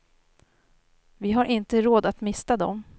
Vi har inte råd att mista dem.